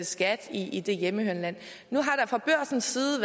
skat i det hjemmehørende land nu har der fra børsens side